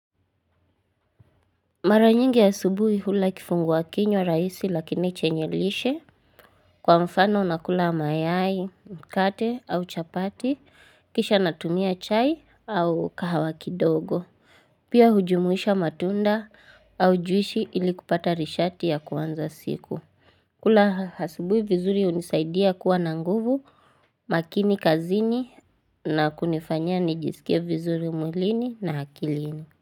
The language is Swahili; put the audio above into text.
Mara nyingi ya asubuhi hula kifungua kinywa rahisi lakini chenye lishe. Kwa mfano nakula mayai, mkate au chapati, kisha natumia chai au kahawa kidogo. Pia hujumuisha matunda au juisi ili kupata rishati ya kuanza siku. Kula asubuhi vizuri hunisaidia kuwa na nguvu, makini kazini na kunifanya nijisikie vizuri mwilini na akilini.